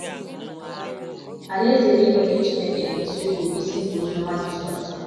Alaeze eluigwe nke Chineke bụ isiokwu bụ́ isi nke ozi ọma Jisọs.